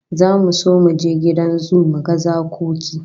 Zamu so mu je gidan zoo mu ga zakoki